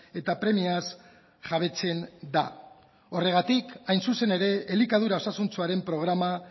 eta premiaz jabetzen da horregatik hain zuzen ere elikadura osasuntsuaren programa